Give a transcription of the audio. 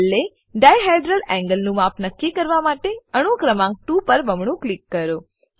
છેલ્લે dihedral angle નું માપ નક્કી કરવા માટે અણુ ક્રમાંક 2 પર બમણું ક્લિક કરો